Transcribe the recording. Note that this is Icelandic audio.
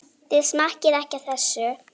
Þið smakkið ekki á þessu!